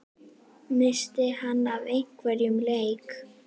missti hann af einum leik?